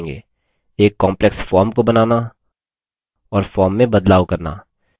एक complex form को बनाना और form में बदलाव करना